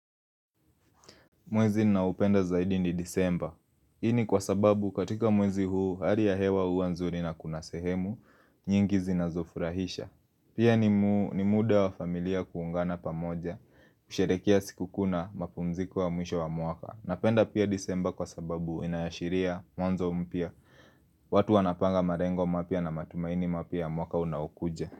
Mwezi na upenda zaidi ni disemba. Ini kwa sababu katika mwezi huu, hali ya hewa hua nzuri na kunasehemu, nyingi zinazofurahisha. Pia ni muu ni muda wa familia kuungana pamoja, kusherekea siku kuu na mapumziko wa mwisho wa mwaka. Napenda pia disemba kwa sababu inaashiria mwanzo mpya. Watu wanapanga marengo mapya na matumaini mapya mwaka unaokuja.